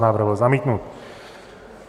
Návrh byl zamítnut.